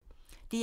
DR1